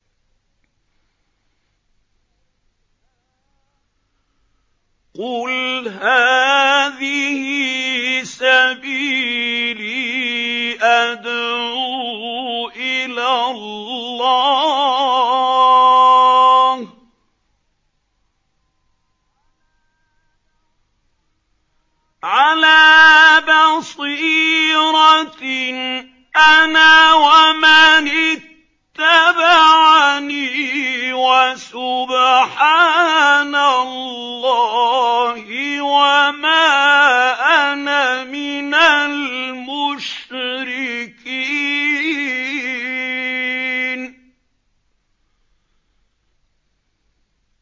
قُلْ هَٰذِهِ سَبِيلِي أَدْعُو إِلَى اللَّهِ ۚ عَلَىٰ بَصِيرَةٍ أَنَا وَمَنِ اتَّبَعَنِي ۖ وَسُبْحَانَ اللَّهِ وَمَا أَنَا مِنَ الْمُشْرِكِينَ